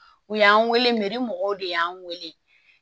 U y'an weele mɔgɔw de y'an weele